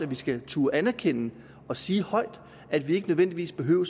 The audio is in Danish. vi skal turde anerkende og sige højt at vi ikke nødvendigvis behøver